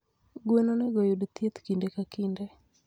gwen onego oyud thiethi kinde ka kinde.